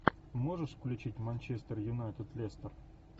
можешь включить манчестер юнайтед лестер